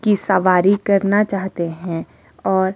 की सवारी करना चाहते हैं और--